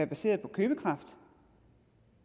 baseret på købekraften